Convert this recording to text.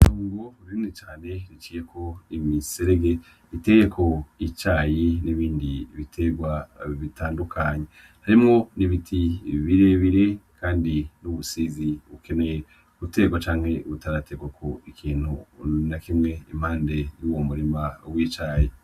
Indimo nini iciyeko imiserege iteyeko icayi n'ibindi biterwa bitandukanye harimwo n'ibiti birebire kandi n'ubusizi bukeneye guterwako canke butara terwako ikintu n'akimwe iruhande rw'uwo murima w'icayi.